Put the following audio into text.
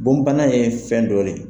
Bonbana ye fɛn dɔ ye